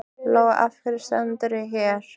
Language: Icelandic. Lóa: Af hverju stendurðu hér?